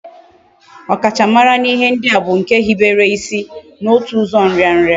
Okachamara na ihe ndi a bu nke hibere isi na otu uzo nria nria